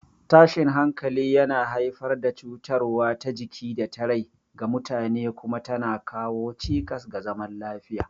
Tashin hankali yana haifar da cutarwa ta jiki da ta rai ga mutane kuma tana kawo cikas ga zaman lafiya.